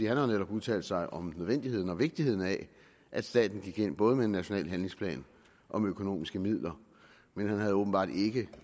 har jo netop udtalt sig om nødvendigheden og vigtigheden af at staten gik ind både med en national handlingsplan og med økonomiske midler men han havde åbenbart ikke